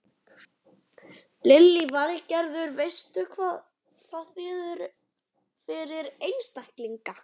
Lillý Valgerður: Veistu hvað það þýðir fyrir einstaklingana?